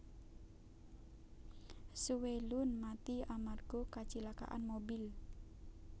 Hsu Wei Lun mati amarga kacilakaan mobil